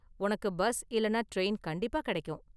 உனக்கு பஸ் இல்லனா டிரெயின் கண்டிப்பா கிடைக்கும்.